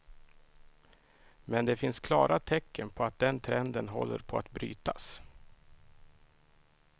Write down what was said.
Men det finns klara tecken på att den trenden håller på att brytas.